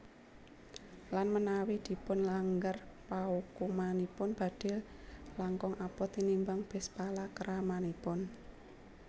Lan menawi dipunlanggar paukumanipun badhe langkung abot tinimbang bes palakramanipun